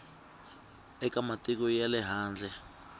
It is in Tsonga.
eka matiko ya le handle